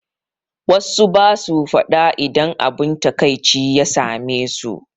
Wassu basu faɗa idan abun taƙaici ya same su